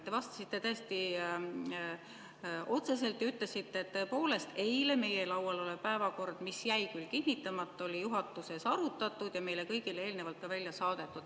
Te vastasite täiesti otseselt ja ütlesite, et tõepoolest, eile meie laual olnud päevakord, mis jäi küll kinnitamata, oli juhatuses arutatud ja meile kõigile eelnevalt ka välja saadetud.